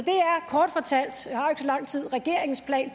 lang tid regeringens plan